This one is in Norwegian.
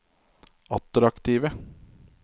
attraktive